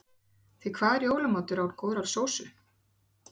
Því hvað er jólamatur án góðrar sósu?